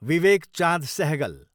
Vivek Chand Sehgal